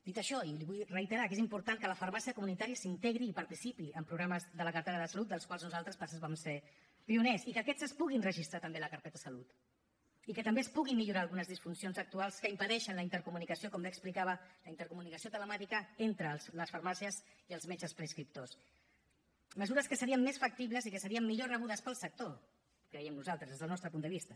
dit això i li ho vull reiterar és important que la farmàcia comunitària s’integri i participi en programes de la cartera de salut dels quals nosaltres per cert vam ser pioners i que aquests es puguin registrar també a la carpeta de salut i que també es puguin millorar algunes disfuncions actuals que impedeixen la intercomunicació com bé explicava la intercomunicació telemàtica entre les farmàcies i els metges prescriptors mesures que serien més factibles i que serien millor rebudes pel sector creiem nosaltres des del nostre punt de vista